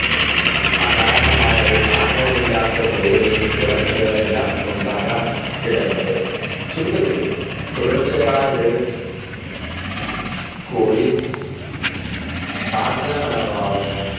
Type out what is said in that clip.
അകാരണമായ ഒരു കാരണവുമില്ലാത്ത പേടി തുടങ്ങിയവയെല്ലാം ഉണ്ടാകാൻ ഇടയുണ്ട്. ചുരുക്കത്തിൽ തുടർച്ചയായി വിരൽ കുടി ആശ്രയമനോഭാവം